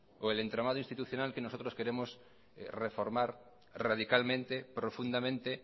o el entramado institucional que nosotros queremos reformar radicalmente profundamente